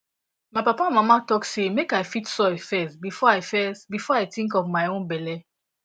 my papa and mama talk say make i feed soil first before i first before i think of my own belle